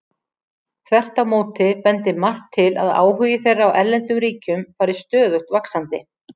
Þvert á móti bendir margt til að áhugi þeirra á erlendum ríkjum fari stöðugt vaxandi.